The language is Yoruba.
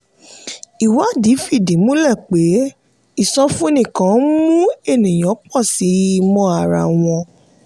ìwádìí fìdí múlẹ̀ pé ìsọfúnni kan ń mu ènìyàn pọ̀ sí i mọ ara wọn.